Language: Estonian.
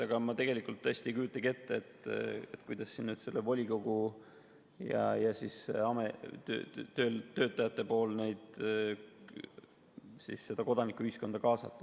Aga ma tõesti ei kujutagi ette, kuidas sellel volikogu ja töötajate teemal seda kodanikuühiskonda kaasata.